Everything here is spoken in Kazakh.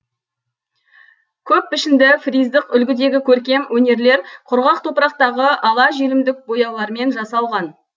көппішінді фриздық үлгідегі көркем өнерлер құрғақ топырақтағы ала желімдік бояулармен жасалған